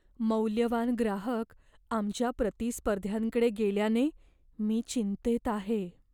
मौल्यवान ग्राहक आमच्या प्रतिस्पर्ध्यांकडे गेल्याने मी चिंतेत आहे.